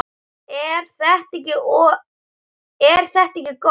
Er þetta ekki gott?